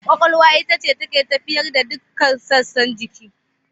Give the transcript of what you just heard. Ƙwaƙwalwa ita ce take tafiyar da dukkan sassan jiki.